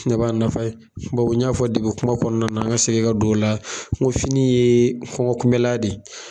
Ne b'a nafa ye bawo n y'a fɔ kuma kɔnɔna na ka segin ka don o la fini ye kɔngɔ kunmɛlan de ye.